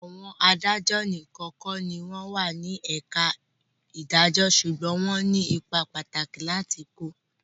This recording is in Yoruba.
Àwọn adájọ́ nìkan kọ́ ní o wà ní ẹ̀ka ìdàjọ́ ṣùgbọ́n wọ́n ní ipa pàtàkì láti kó.